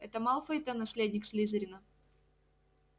это малфой-то наследник слизерина